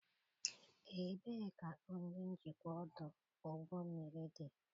Ebee ka onye njikwa ọdụ ụgbọ mmiri dị?